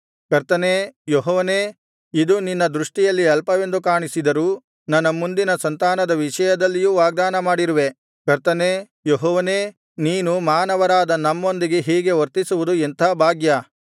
ಕರ್ತನೇ ಯೆಹೋವನೇ ಇದು ನಿನ್ನ ದೃಷ್ಟಿಯಲ್ಲಿ ಅಲ್ಪವೆಂದು ಕಾಣಿಸಿದರೂ ನನ್ನ ಮುಂದಿನ ಸಂತಾನದ ವಿಷಯದಲ್ಲಿಯೂ ವಾಗ್ದಾನ ಮಾಡಿರುವೆ ಕರ್ತನೇ ಯೆಹೋವನೇ ನೀನು ಮಾನವರಾದ ನಮ್ಮೊಂದಿಗೆ ಹೀಗೆ ವರ್ತಿಸುವುದು ಎಂಥಾ ಭಾಗ್ಯ